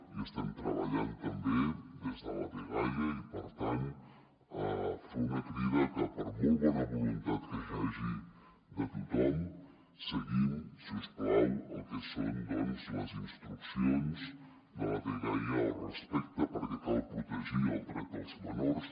hi estem treballant també des de la dgaia i per tant fer una crida a que per molt bona voluntat que hi hagi de tothom seguim si us plau el que són doncs les instruccions de la dgaia al respecte perquè cal protegir el dret dels menors